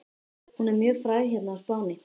Hún er mjög fræg hérna á Spáni.